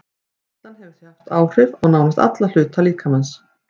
Áreynsla hefur því áhrif á nánast alla hluta líkamans.